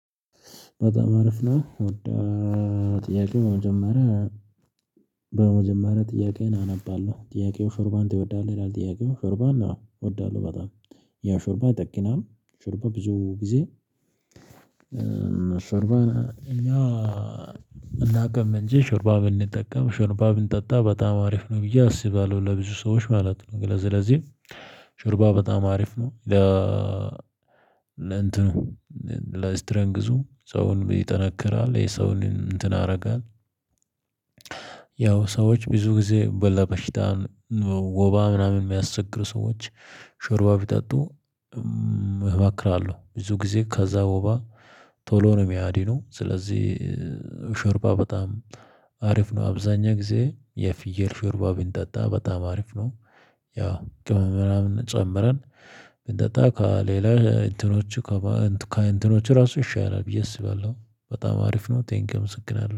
በጣም አረፍ ነው። ወደ ጥያቄው በመጀመሪያ በመጀመሪያ ጥያቄዬን አነባለሁ? ጥያቄው ሹርባን ትወዳለህ ይላል፣ ጥያቄው ሹርባን አዎ እወዳለሁ በጣም ያው ሹርባ ይጠግናል ሹርባ ብዙ ጊዜ ሽርባ እና እናቅምእንቺ ሹርባ ብንጠቀም ሹርባ ብንጠጣ በጣም አሪፍ ነው። ብዬ አስባለሁ ለብዙ ሰዎች ማለት ነው። ስለዚህ በጣም አሪፍ ነው። ለ ለእንትኑ ለስትረንግዙ ሰውን ይጠነክራል የሰውን እንትን አደርጋለሁ፣ ያው ሰዎች ብዙ ጊዜ በለበሽታን ወባ ምናምን የሚያስቸግር ሰዎች ሾርባ ቢጠጡ እመክራለሁ ብዙ ጊዜ ከዛ ወባ ቶሎ ነው የሚያድኑ ስለዚህ ሽርባ በጣም አሪፍ ነው። አብዛኛው ጊዜ የፍየል ሽርባ ቢንጠጣ በጣም አሪፍ ነው። ያው ቅመም ምናምን ጨምረን ብንጠጣ ከሌላ እንትኖቹ ከእንትኖቹ ራሱ ይሻላል ብዬ አስባለሁ። በጣም አሪፍ ነው ቴንክ ምስክር አለው።